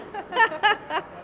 það